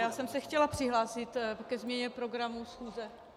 Já jsem se chtěla přihlásit ke změně programu schůze.